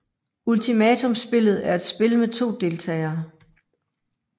Ultimatumspillet er et spil med to deltagere